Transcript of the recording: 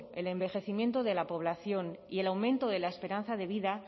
el envejecimiento de la población y el aumento de la esperanza de vida